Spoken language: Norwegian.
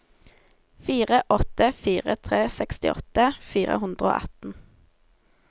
fire åtte fire tre sekstiåtte fire hundre og atten